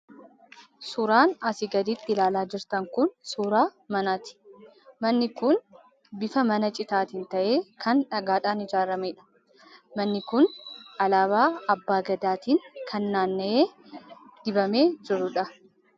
Suuraan asii gaditti ilaalaa jirtan kun suuraa manaati. Manni kun bifa mana citaatiin ta'ee kan dhagaadhaan ijaarameedha. Manni kun alaabaa Abbaa Gadaatiin kan naanna'ee dibamee jiruudha.